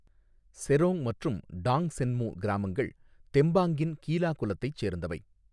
செரோங் மற்றும் டாங்சென்மு கிராமங்கள் தெம்பாங்கின் கீலா குலத்தைச் சேர்ந்தவை.